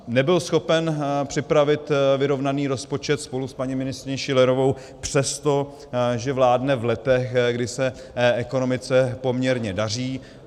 Nebyl schopen připravit vyrovnaný rozpočet spolu s paní ministryní Schillerovou přesto, že vládne v letech, kdy se ekonomice poměrně daří.